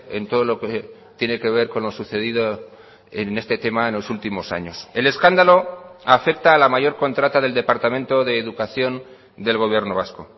en todo lo que tiene que ver con lo sucedido en este tema en los últimos años el escándalo afecta a la mayor contrata del departamento de educación del gobierno vasco